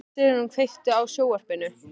Sigrún, kveiktu á sjónvarpinu.